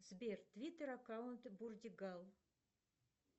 сбер твиттер аккаунт бурдигал